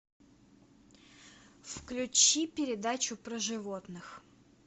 включи передачу про животных